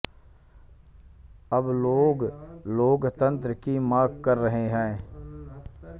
अब लोग लोकतंत्र की मांग कर रहे हैं